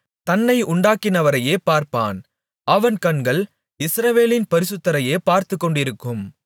தன்னை உண்டாக்கினவரையே பாரப்பான் அவன் கண்கள் இஸ்ரவேலின் பரிசுத்தரையே பார்த்துக் கொண்டிருக்கும்